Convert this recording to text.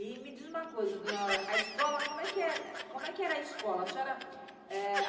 E me diz uma coisa dona Aurora, a escola, como é que como é que era a escola? A senhora, eh